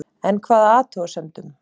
En hvaða athugasemdum